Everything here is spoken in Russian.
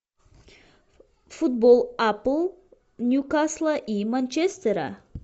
футбол апл ньюкасла и манчестера